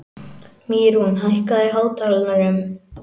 Mýrún, hækkaðu í hátalaranum.